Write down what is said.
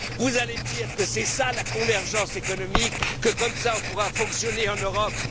Vous allez me dire que c'est ça la convergence économique et qu'ainsi nous pourrons fonctionner en Europe.